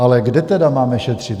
Ale kde tedy máme šetřit?